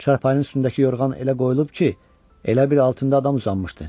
Çarpanın üstündəki yorğan elə qoyulub ki, elə bil altında adam uzanmışdı.